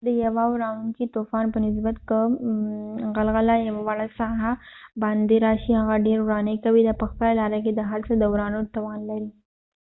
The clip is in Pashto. د یوه ورانوونکې طوفان په نسبت که غلغله بادبوړکۍ یوه وړه ساحه باندي راشي هم ډیر ورانی کوي. دا په خپله لاره کې د هر څه د ورانولو توان لري